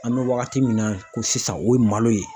An bɛ wagati min na ko sisan o ye malo ye